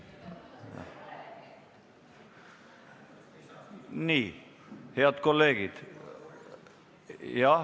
Nii, head kolleegid.